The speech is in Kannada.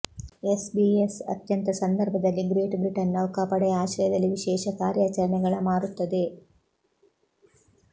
ಎಸ್ಬಿಎಸ್ ಅತ್ಯಂತ ಸಂದರ್ಭದಲ್ಲಿ ಗ್ರೇಟ್ ಬ್ರಿಟನ್ ನೌಕಾಪಡೆಯ ಆಶ್ರಯದಲ್ಲಿ ವಿಶೇಷ ಕಾರ್ಯಾಚರಣೆಗಳ ಮಾರುತ್ತದೆ